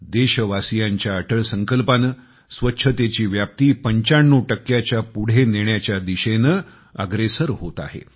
देशवासीयांच्या अटळ संकल्पाने स्वच्छतेची व्याप्ती 95च्या पुढे नेण्याच्या दिशेने अग्रेसर होत आहे